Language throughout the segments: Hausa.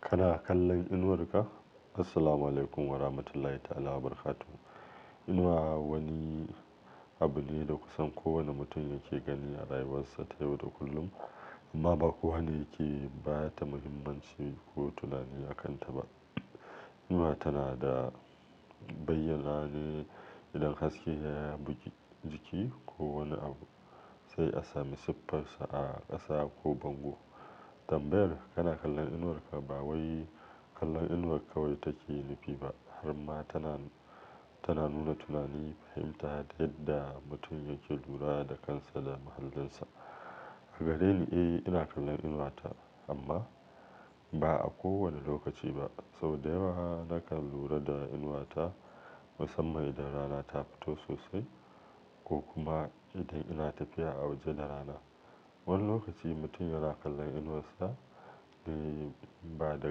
Kana kallon inuwar ka? Assalamualaikum warahmatullahi ta'ala wabarakatuh. Ina wani abu ne da kusan kowanne mutum yake gani a rayuwarsa ta yau da kullum, amma ba kowa ne ke bata muhimmanci ko tunani a kanta ba. Inuwa tana da bayyanane idan haske ya bugi jiki ko wani abu, sai a sami siffarsa a ƙasa ko bango. Tambayar "kana kallon inuwarka" ba wai kallon inuwar kawai take nufi ba, har ma tana nuna tunani, fahimta da yadda mutum yake lura da kansa da muhallinsa. Gare ni, eh, ina kallon inuwata amma ba a kowanne lokaci ba. Sau da yawa nakan lura da inuwata musamman idan rana ta fito sosai ko kuma idan ina tafiya a waje da rana. Wani lokaci mutum yana kallon inuwarsa ba da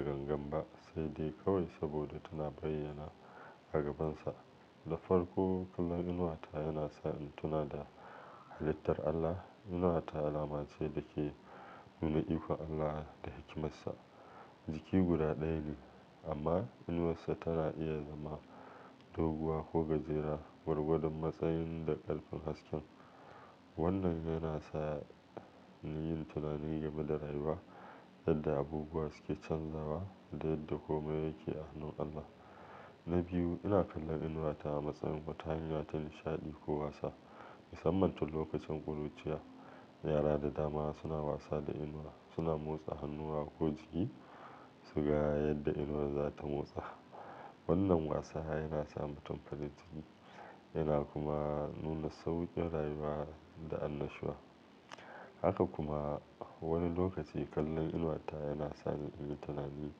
gangan ba, sai dai kawai saboda tana bayyana a gabansa. Da farko, kallon inuwata yana sa in tuna da halittar Allah. Inuwata alama ce da ke nuna ikon Allah da hikimarsa. Jiki guda ɗaya ne amma inuwarsa tana iya zama doguwa ko gajera, gwargwadon matsayin da ƙarfin hasken. Wannan yana sa in yi tunanin game da rayuwa, yadda abubuwa suke canzawa da yadda komai yake a hannun Allah. Na biyu, ina kallon inuwata a matsayin wata hanya ta nishaɗi ko wasa. Musamman tun lokacin ƙuruciya, yara da damara suna wasa da inuwa. Suna motsa hannuwa ko jiki su ga yadda inuwa za ta motsa. Wannan wasa yana sa mutum farin ciki yana kuma nuna sauƙin rayuwa da annashuwa. Haka kuma wani lokaci kallon inuwata yana sa ni in yi tunani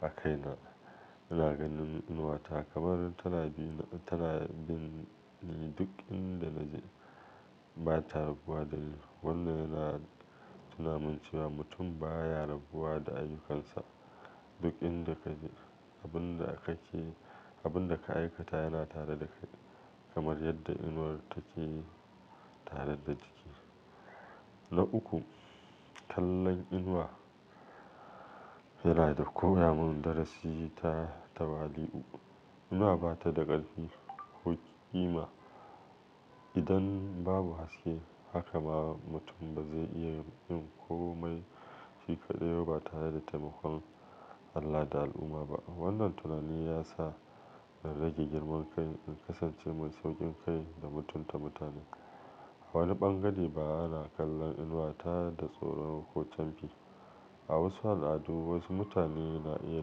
a kaina. Ina ganin inuwata kamar tana bin duk inda na je bata rabuwa da ni. Wannan yana tunamin cewa mutum baya rabuwa da ayyukansa duk inda ka je. Abin da ka ke, abin da ka aikata yana tare da kai, kamar yadda inuwar take tare da jiki. Na uku, kallon inuwa yana da ko ya mun darasi ta tawali'u. Inuwa ba ta da ƙarfi ko ƙima idan babu haske. Haka ma mutum ba zai iya yin komai shi kaɗai ba tare da taimakon Allah da al'umma ba. Wannan tunani yasa na rage girman kai, in kasance mai sauƙin kai da mutunta mutane. A wani ɓangare ba ana kallon inuwata da tsoro ko camfi. A wasu al'adu wasu mutane na iya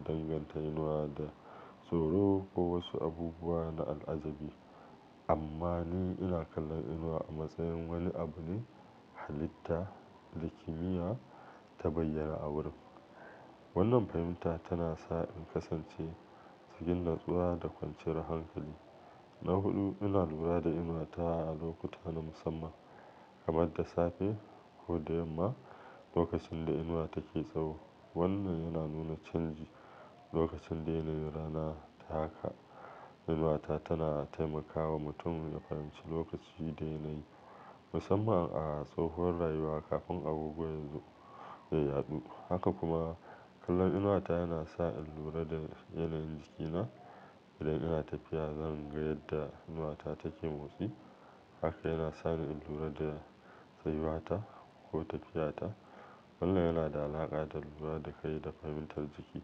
danganta inuwa da tsoro ko wasu abubuwa na al'ajabi. Amma ni ina kallon inuwa a matsayin wani abun halitta da kimiyya ta bayyana a wurin. Wannan fahimta tana sa in kasance cikin natsuwa da kwanciyar hankali. Na huɗu, ina lura da inuwata a lokuta na musamman kamar da safe ko da yamma, lokacin da inuwa take tsawo. Wannan yana nuna canji lokacin daidai rana. Inuwata tana taimakawa mutum ya fahimci lokaci daidai, musamman a tsahon rayuwa kafin abubuwa yanzu ya yaɗu. Haka kuma kallon inuwata yana sa in lura da yanayin jikina. Idan ina tafiya, zan ga yadda inuwata take motsi. Haka yana sa ni in lura da tsayuwata ko tafiyata. Wannan yana da alaƙa da lura da kai da fahimtar jiki.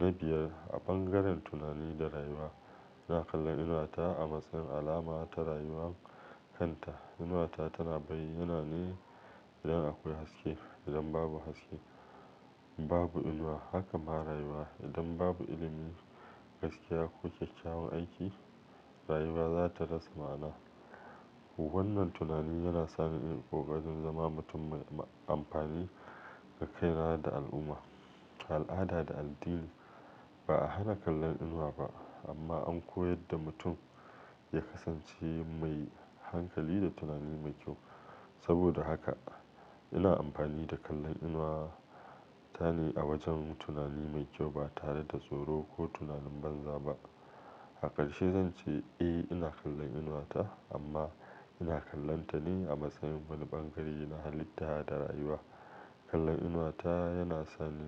Na biyar, a bangaren tunani da rayuwa, ina kallon inuwata a matsayin alama ta rayuwar kanta. Inuwata tana bayyanane idan akwai haske, idan babu haske babu inuwa. Haka ma rayuwa. Idan babu ilimin gaskiya ko kyakkyawan aiki, rayuwa za ta rasa ma'ana. Wannan tunani yana sa ni in ƙoƙarin zama mutum mai amfani ga kai na da al'umma. A al'ada da addini ba a hana kallon inuwa ba amma an koyar da mutum ya kasance mai hankali da tunani mai kyau. Saboda haka ina amfani da kallon inuwata ne a wajen tunani mai kyau ba tare da tsoro ko tunanin banza ba. A ƙarshe zan ce eh ina kallon inuwata amma ina kallonta ne a matsayin wani ɓangare na halitta da rayuwa. Kallon inuwata yana sa ni.